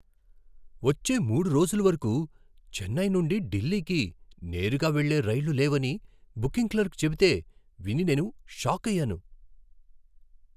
వచ్చే మూడు రోజుల వరకు చెన్నై నుండి ఢిల్లీకి నేరుగా వెళ్లే రైళ్లు లేవని బుకింగ్ క్లర్క్ చెబితే విని నేను షాకయ్యాను.